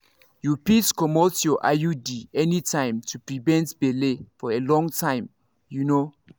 you fit comot your iud anytime to prevent belle for a long time. you know.